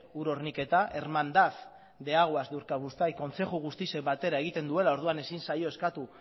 ur horniketa hermandad de aguas de urkabustaiz kontzeju guztiek batera egiten duela orduan ezin zaio eskatu